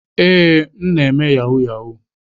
Ee, m na-eme yahoo yahoo.